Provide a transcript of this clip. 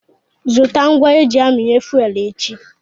Zụta ngwa eji aminye fuwel echi.